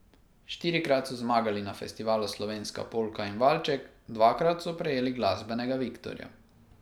Štirikrat so zmagali na festivalu Slovenska polka in valček, dvakrat so prejeli glasbenega viktorja.